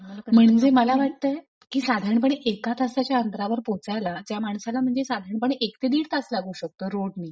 म्हणजे मला वाटतय साधारणपणे एका तासाच्या अंतरावर पोहोचायला ज्या माणसाला म्हणजे साधारणपणे एक ते दिड तास लागू शकतो रोड नी;